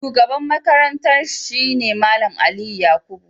Shugaban Makarantar shi ne Mallam Aliyu Yakubu.